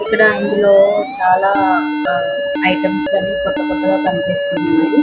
ఇక్కడ ఇందులో చాలా ఐటెమ్స్ అన్ని కొత్త కొత్త కనిపిస్తున్నాయి --